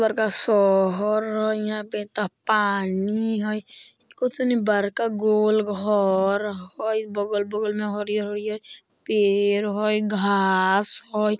बरका शहर हई यहाँ पे त पानी हई कुछ तनी बरका गोलघर हई बगल-बगल मा हरियर-हरियर पेड़ हई घास हई।